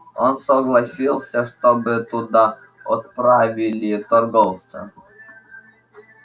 он согласился чтобы туда отправили торговца